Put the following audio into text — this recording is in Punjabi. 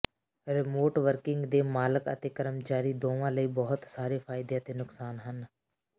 ਰਿਮੋਟ ਵਰਕਿੰਗ ਦੇ ਮਾਲਕ ਅਤੇ ਕਰਮਚਾਰੀ ਦੋਵਾਂ ਲਈ ਬਹੁਤ ਸਾਰੇ ਫਾਇਦੇ ਅਤੇ ਨੁਕਸਾਨ ਹਨ